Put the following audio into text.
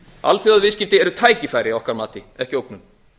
alþjóðaviðskipti eru tækifæri að okkar mati ekki ógnun